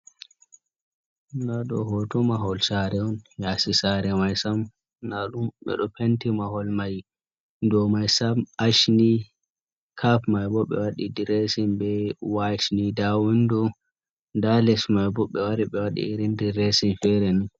Nda ɗo hoto mahol sare on yasi sare mai sam nda ɗum ɓe ɗo penti mahol mai dow mai sam ash ni capp mai bo ɓe wadi diresin be wayit ni nda windo nda les mai bo ɓe wari ɓe wadi irin diresin fere ni.